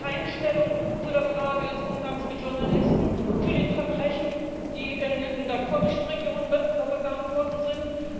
Wir nehmen keine Stellung zu der Frage des Umgangs mit Journalisten zu den Verbrechen, die in der kurdischen Regionen begangen worden sind.